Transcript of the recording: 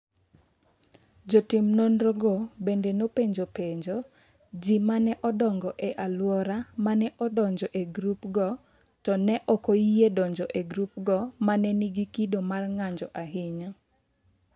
Jotim nonrogo bende nopenjo penjo ji ma ne odongo e alwora ma ne odonjoe e grupgo, to ne ok oyie donjo e grupgo ma ne nigi kido mar ng’anjo ahinya.